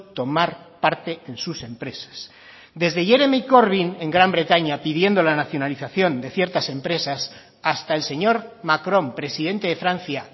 tomar parte en sus empresas desde jeremy corbyn en gran bretaña pidiendo la nacionalización de ciertas empresas hasta el señor macrón presidente de francia